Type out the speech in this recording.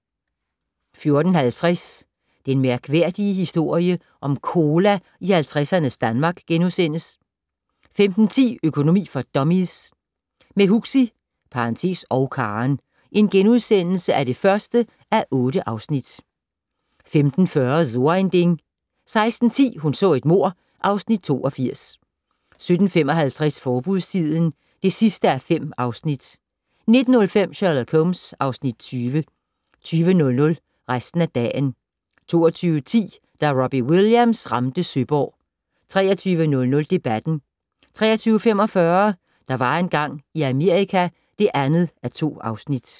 14:50: Den mærkværdige historie om cola i 50'ernes Danmark * 15:10: Økonomi for dummies - med Huxi (og Karen) (1:8)* 15:40: So ein Ding 16:10: Hun så et mord (Afs. 82) 17:55: Forbudstiden (5:5) 19:05: Sherlock Holmes (Afs. 20) 20:00: Resten af dagen 22:10: Da Robbie Williams ramte Søborg 23:00: Debatten 23:45: Der var engang i Amerika (2:2)